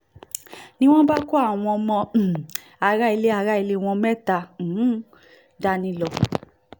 ni wọ́n bá kó àwọn ọmọ um aráalé aráalé wọn mẹ́ta náà um dání lọ